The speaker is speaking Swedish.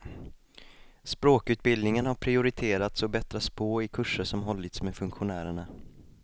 Språkutbildningen har prioriterats och bättrats på i kurser som hållits med funktionärerna.